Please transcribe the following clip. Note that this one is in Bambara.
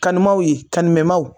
Kanum'aw ye ka kan